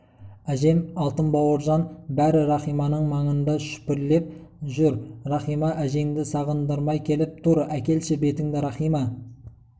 әжем алтын бауыржан бәрі рахиманың маңында шүпірлеп жүр рахима әжеңді сағындырмай келіп тұр әкелші бетіңді рахима